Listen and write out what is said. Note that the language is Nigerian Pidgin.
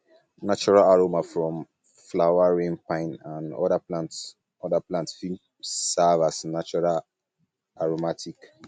natural aroma from flower rain pine and um oda plants oda plants fit serve um as natural um aromatic